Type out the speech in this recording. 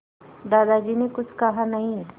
दादाजी ने कुछ कहा नहीं